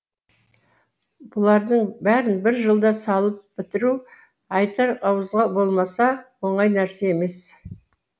бұлардың бәрін бір жылда салып бітіру айтар ауызға болмаса оңай нәрсе емес